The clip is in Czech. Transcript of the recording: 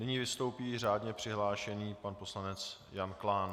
Nyní vystoupí řádně přihlášený pan poslanec Jan Klán.